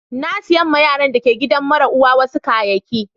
Na saya ma yaran da ka gidan mara uwa wasu kayaki.